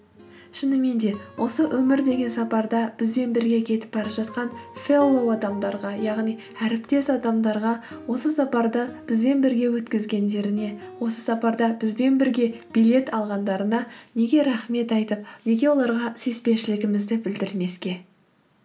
шынымен де осы өмір деген сапарда бізбен бірге кетіп бара жатқан фэллоу адамдарға яғни әріптес адамдарға осы сапарды бізбен бірге өткізгендеріне осы сапарда бізбен бірге билет алғандарына неге рахмет айтып неге оларға сүйіспеншілігімізді білдірмеске